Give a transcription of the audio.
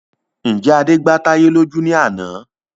Ǹjẹ́ Adé gba táyé lójú ní àná